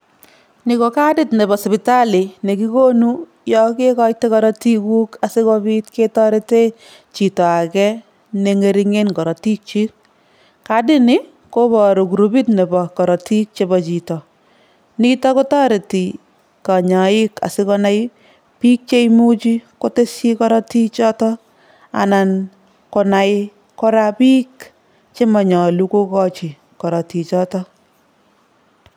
Ni ko kadit nebo sipitali ne kikonu yo kekoite korotikuk asi kobit ketorete chito age ne ngeri'ngen korotikyik, kadini koboru krupit nebo korotik chebo chito, nitok kotoreti kanyoik asi konai biik cheimuchi kotesyi korotichoto anan konai kora biik chemanyalu kokochi korotichoto.